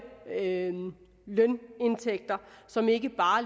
lønindtægter som ikke bare